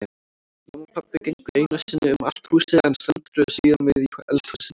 Mamma og pabbi gengu einu sinni um allt húsið en stöldruðu síðan við í eldhúsinu.